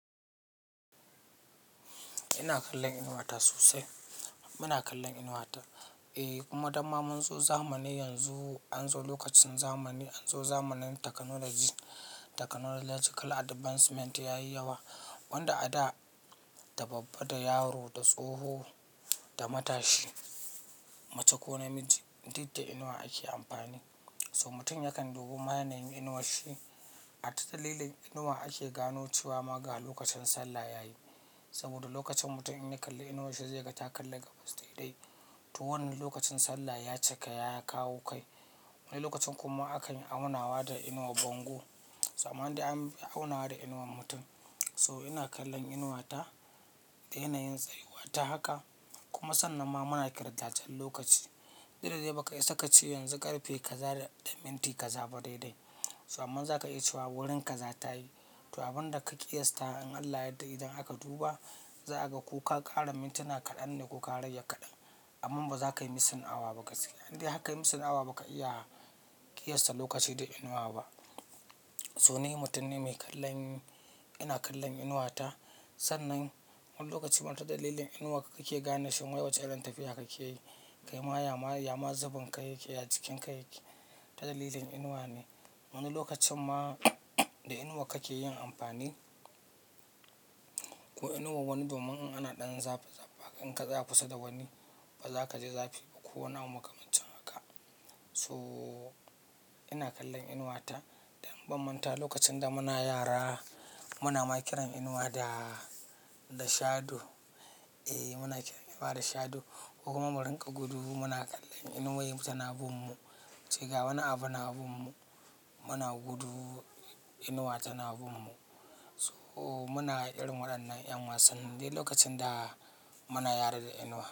Ina kallon inuwa ta sosai. Ina kallon inuwa ta kuma damma mun zo zamanin yanzu, an zo lokacin zamani, an zo zamanin technological advancement yayi yawa wanda a da da babba, da yaro, da tsoho, da matashi mace ko namiji duk da inuwa ake amfani. So mutum yakan dubi hanyoyin inuwar shi. A ta dalilin inuwa ake gano cewa ma ga lokacin sallah yayi. Saboda lokacin mutum in ya kalli inuwar shi zai ga ta kalla gaba saitai. To wannan lokacin sallah ya cika, ya kawo kai. Wani lokacin kuma aka yi aunawa da inuwar bango. Zamanin da an yi aunawa da inuwar mutum. So ina kallon inuwa ta da yanayin tsariwata haka. Kuma sannan ma muna ƙirdajen lokaci. Duk da dai baka isa ka ce yanzu ƙarfe kaza da minti kaza ba daidai. Sannan za ka iya cewa wurin ka za ta yi. To abin da ka ƙiyasta in Allah yadda idan aka duba za a ga ko ka ƙara mintuna kaɗan ne ko ka rage kaɗan. Aman ba za ka yi missing awa ba gaskiya Indai haka yi missing awa, ba ka iya ƙiyasta lokaci da inuwa ba. So ni mutum ne mai kallon, ina kallon inuwa ta. Sannan wani lokaci ma ta dalilin inuwa kake gane shi ma yawace irin tafiya kake yi. Kai ma ya ma zabin kai yake, ya jikin kai yake ta dalilin inuwa ne. Wani lokacin ma da inuwa kake yin amfani. Ko inuwa wani domin in ana ɗan zafi zafa, in ka tsaya kusa da wani ba za ka ji zafi ba. Ko wani abu makamancin haka. So ina kallon inuwa ta da in bam manta lokacin da muna yara muna ma kiran inuwa da shadow. Eh muna kiran inuwa da shadow ko kuma mu rinƙa gudu muna kallon inuwayen tana bin mu. Cika wani abu na binmu muna gudu inuwa tana binmu. So muna ƙira waɗannan 'yan wasa indai lokacin da muna yara da inuwa.